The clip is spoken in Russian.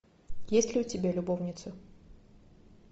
есть ли у тебя любовницы